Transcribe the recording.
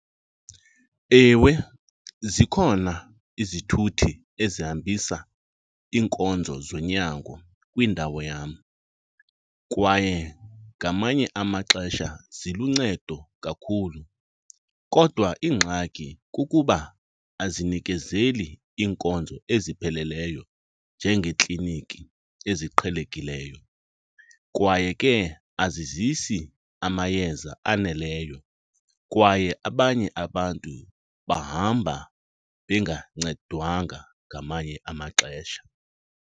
Ewe, zikhona izithuthi ezihambisa iinkonzo zonyango kwindawo yam kwaye ngamanye amaxesha ziluncedo kakhulu kodwa ingxaki kukuba azinikezeli iinkonzo ezipheleleyo njengeekliniki eziqhelekileyo. Kwaye ke azizisi amayeza aneleyo kwaye abanye abantu bahamba bengancedwanga ngamanye amaxesha.